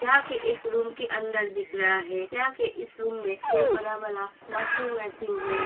यहा एक रूम के अंदर दिख रहा है यहा के इस रूम मे दो बड़ा वाला वाशिंग मशीन है।